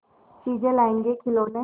चीजें लाएँगेखिलौने